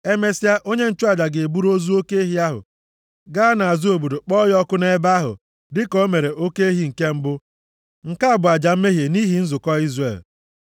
Emesịa, onye nchụaja ga-eburu ozu oke ehi ahụ gaa nʼazụ obodo kpọọ ya ọkụ nʼebe ahụ, dịka o mere oke ehi nke mbụ. Nke a bụ aja mmehie nʼihi nzukọ Izrel.